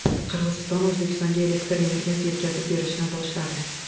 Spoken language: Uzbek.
Qirg‘iziston O‘zbekistonga elektr energiyasi yetkazib berishni boshladi .